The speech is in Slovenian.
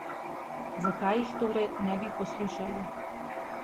Zakaj jih torej ne bi poslušali?